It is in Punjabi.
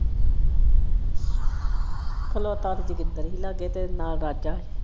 ਖਲੋਤਾ ਤੇ ਜੋਗਿੰਦਰ ਹੀ ਲਾਗੇ ਤੇ ਨਾਲ ਰਾਜਾ ਹੀ।